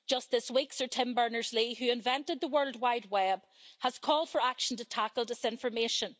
Just this week, Sir Tim Berners Lee, who invented the World Wide Web, has called for action to tackle disinformation.